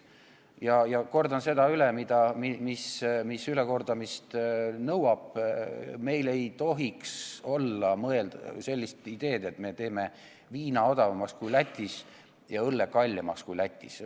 Ja ma kordan selle üle, mis ülekordamist nõuab: meil ei tohiks olla eesmärki, et me teeme viina odavamaks kui Lätis ja õlle kallimaks kui Lätis.